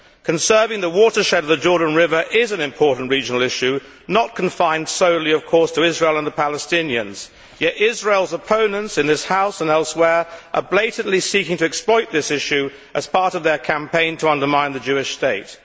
Conserving the watershed of the Jordan River is an important regional issue that is not of course confined solely to Israel and the Palestinians, yet Israel's opponents in this House and elsewhere are blatantly seeking to exploit this issue as part of their campaign to undermine the Jewish State.